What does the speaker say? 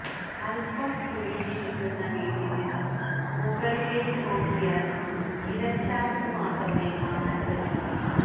അല്പം കുഴിയിലിരിക്കുന്ന വീട്ടില്നിന്നു മുകളിലേക്കു നോക്കിയാല് ഇലച്ചാര്ത്തു മാത്രമേ കാണാന് പറ്റൂ